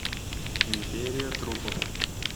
империя трупов